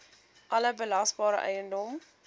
alle belasbare eiendom